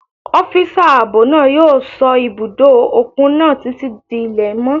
Ọ́físà ààbò náà yóò sọ́ ibùdó òkun náà títí di ilẹ̀ mọ́